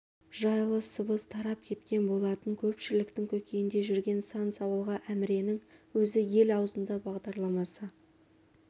жайлы сыбыс тарап кеткен болатын көпшіліктің көкейінде жүрген сан сауалға әміренің өзі ел аузында бағдарламасы